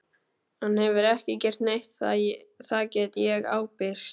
Hann hefur ekki gert neitt, það get ég ábyrgst.